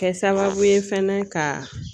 Kɛ sababu ye fɛnɛ ka